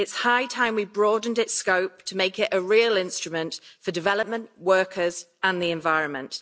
It's high time we broadened its scope to make it a real instrument for development, workers and the environment.